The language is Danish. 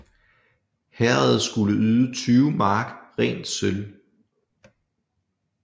Herredet skulle yde 20 mark rent sølv